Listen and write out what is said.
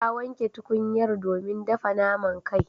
Ta wanke tukunyar domin dafa naman kai.